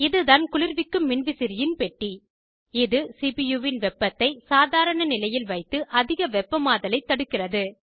இதுதான் குளிர்விக்கும் மின்விசிறியின் பெட்டி இது சிபியூ வின் வெப்பத்தை சாதாரண நிலையில் வைத்து அதிக வெப்பமாதலை தடுக்கிறது